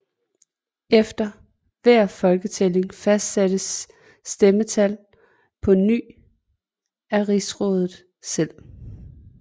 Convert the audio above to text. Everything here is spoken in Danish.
Efter hver folketælling fastsattes stemmetallet på ny af rigsrådet selv